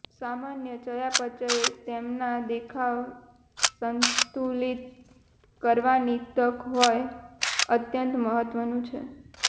સામાન્ય ચયાપચય તેમના દેખાવ સંતુલિત કરવાની તક હોય અત્યંત મહત્વનું છે